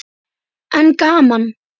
En gaman.